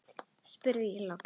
spurði ég loks.